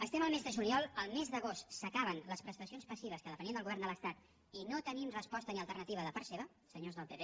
estem al mes de juliol el mes d’agost s’acaben les prestacions passives que depenien del govern de l’estat i no tenim resposta ni alternativa de part seva senyors del pp